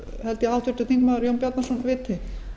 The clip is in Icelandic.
held ég að háttvirtur þingmaður jón bjarnason viti